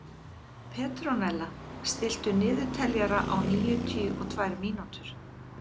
Petrónella, stilltu niðurteljara á níutíu og tvær mínútur.